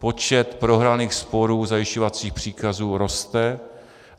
Počet prohraných sporů zajišťovacích příkazů roste.